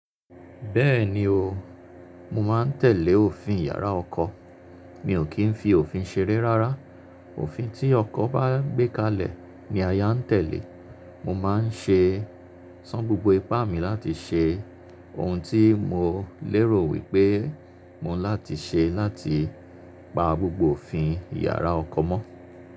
Bẹ́ẹ̀ni o, mo má n tẹ̀lé òfin yàrá ọkọ. Mi ò kí n fi òfin ṣeré rárá. Òfin tí ọkọ bá gbé kalẹ̀ ní aya ń tẹ̀lé. Mo máa n ṣé, san gbogbo ipá mi láti ṣé, ohun tí mo lérò wí pé mó n láti ṣe láti pa gbogbo òfin yàrá ọkọ mọ́.